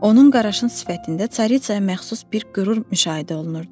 Onun qaraşın sifətində Çariçaya məxsus bir qürur müşahidə olunurdu.